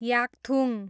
Yakthung